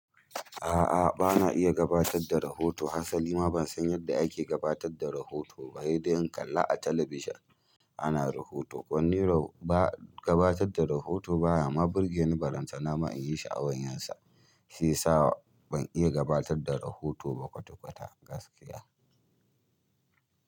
A'a, bana iya gabatar da rahoto. Hasali ma ban san yadda ake gabatar da rahoto ba. Sai dai in kalla a talabijin ana rahoto. Kwanni ro ba gabatar da rahoto ba ya ma burgeni tallantananma in yi sha'awar yansa. Shi yasa ban iya gabatar da rahoto ba kwata-kwata gaskiya.